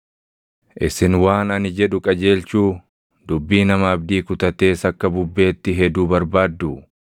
Isin waan ani jedhu qajeelchuu, dubbii nama abdii kutatees akka bubbeetti heduu barbaadduu?